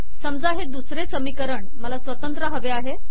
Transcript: समजा हे दुसरे समीकरण मला स्वतंत्र हवे आहे